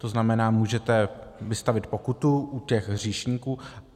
To znamená, můžete vystavit pokutu u těch hříšníků.